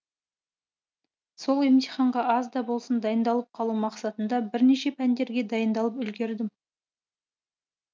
сол емтиханға аз да болсын дайындалып қалу мақсатында бірнеше пәндерге дайындалып үлгердім